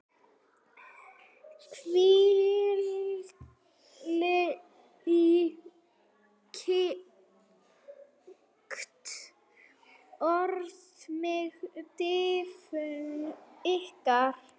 hvílíkt orð mig dynur yfir!